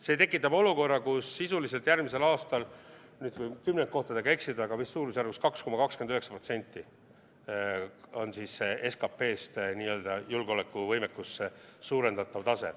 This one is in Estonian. See tekitab olukorra, kus sisuliselt järgmisel aastal, ütleme, võin kümnendkohtadega eksida, aga vist suurusjärgus 2,29% on SKP-st julgeolekuvõimekusse suunatav tase.